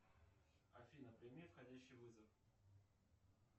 афина прими входящий вызов